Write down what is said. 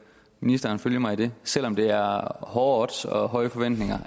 ministeren følge mig i det selv om det er hårde odds og høje forventninger